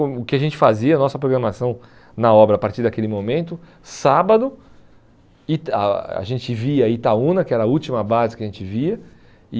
O que a gente fazia, a nossa programação na obra, a partir daquele momento, sábado, e tal a gente via Itaúna, que era a última base que a gente via, e...